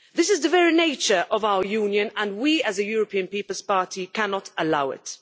This is the very nature of our Union and we, as the European People's Party, cannot allow it.